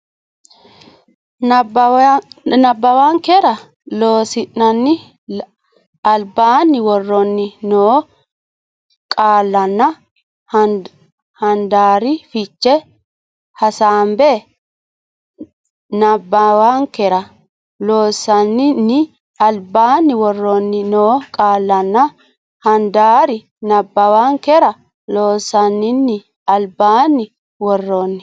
nabbawankera Loossinanni albaanni woroonni noo qaallanna handaari fiche hasaabbe nabbawankera Loossinanni albaanni woroonni noo qaallanna handaari nabbawankera Loossinanni albaanni woroonni.